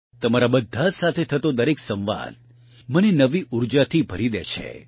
તમારી બધા સાથે થતો દરેક સંવાદ મને નવી ઉર્જાથી ભરી દે છે